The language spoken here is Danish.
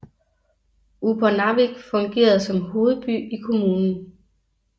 Upernavik fungerede som hovedby i kommunen